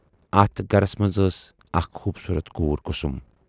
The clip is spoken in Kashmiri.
اَتھ گرس منز ٲس اکھ خوبصوٗرت کوٗر 'کُسُم'۔